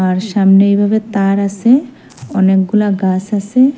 আর সামনে এভাবে তার আসে অনেকগুলা গাস আসে।